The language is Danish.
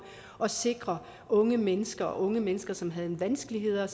at sikre unge mennesker unge mennesker som har vanskeligheder